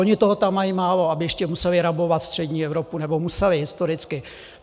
Oni toho tam mají málo, aby ještě museli rabovat střední Evropu - nebo museli historicky?